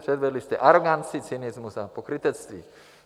Předvedli jste aroganci, cynismus a pokrytectví.